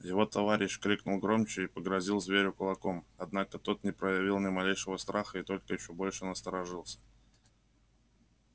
его товарищ крикнул громче и погрозил зверю кулаком однако тог не проявил ни малейшего страха и только ещё больше насторожился